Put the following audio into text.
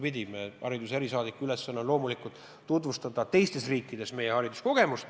Meie hariduse erisaadiku ülesanne on loomulikult tutvustada teistes riikides meie hariduskogemusi.